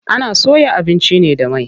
Ana soya abinci ne da mai.